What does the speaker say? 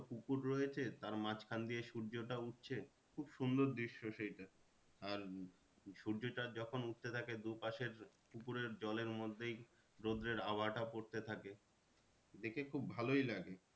পুকুর রয়েছে তার মাঝখান দিয়ে সূর্যটা উঠছে খুব সুন্দর দৃশ্য সেইটা। আর উম সূর্যটা যখন উঠতে থাকে দু পাশের পুকুরের জলের মধ্যেই রোদের পড়তে থাকে। দেখে খুব ভালোই লাগে।